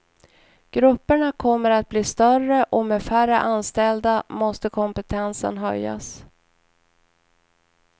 Grupperna kommer att bli större och med färre anställda måste kompetensen höjas.